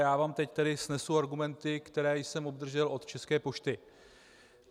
Já vám tedy teď snesu argumenty, které jsem obdržel od České pošty.